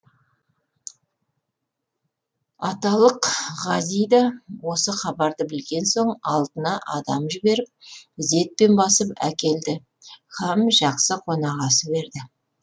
аталық ғази да осы хабарды білген соң алдына адам жіберіп ізетпен бастап әкелді һәм жақсы қонақасы берді